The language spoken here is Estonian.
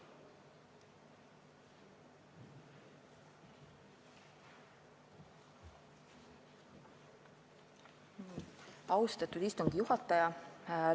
Austatud istungi juhataja!